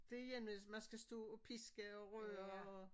Det igen hvis man skal stå og piske og røre og